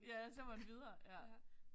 Ja så er man videre ja